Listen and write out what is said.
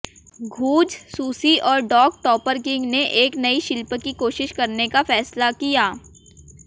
द्यूज Susie और dog Topperkins ने एक नई शिल्प की कोशिश करने का फैसला किया